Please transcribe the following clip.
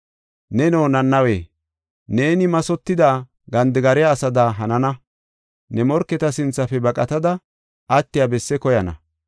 Neno, Nanawe, neeni mathotidi gandigariya asada hanana. Ne morketa sinthafe baqatada attiya bessi koyana.